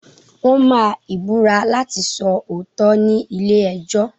Wọ́n máa Ìbúra láti sọ òótọ́ ni ilé ẹjọ́.